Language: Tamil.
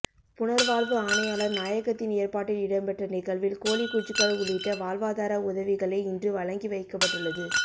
புனர்வாழ்வு ஆணையாளர் நாயகத்தின் ஏற்பாட்டில் இடம்பெற்ற நிகழ்வில் கோழி குஞ்சுகள் உள்ளிட்ட வாழ்வாதார உதவிகளே இன்று வழங்கி வைக்கப்பட்டுள்ளது